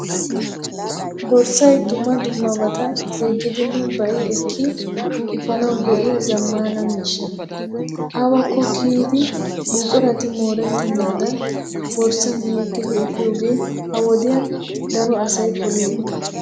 Borssay dumma dummabata yeggidinne ba'i ekki efaanawu go'iya zammaana miishsha. Awakko kiyiiddi buqurati moorettennaadan borssan yeggidi efiyoogee ha wodiyan daro asay poliyooba.